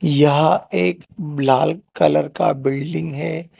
यहां एक लाल कलर का बिल्डिंग है।